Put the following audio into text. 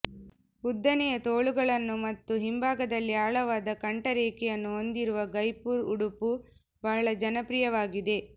ಉದ್ದನೆಯ ತೋಳುಗಳನ್ನು ಮತ್ತು ಹಿಂಭಾಗದಲ್ಲಿ ಆಳವಾದ ಕಂಠರೇಖೆಯನ್ನು ಹೊಂದಿರುವ ಗೈಪುರ್ ಉಡುಪು ಬಹಳ ಜನಪ್ರಿಯವಾಗಿದೆ